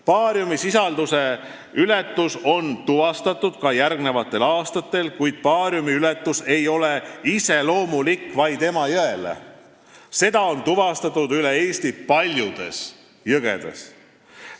Baariumi liiga suurt sisaldust on tuvastatud ka järgnevatel aastatel, kuid see ei ole iseloomulik vaid Emajõele, seda on tuvastatud üle Eesti paljudes jõgedes.